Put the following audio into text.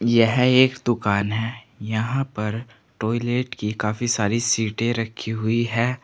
यह एक दुकान है। यहां पर टॉयलेट की काफी सारी सीटें रखी हुई हैं।